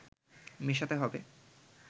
মেশাতে হবে